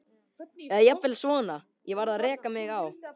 Eða jafnvel svona: Ég varð að reka mig á.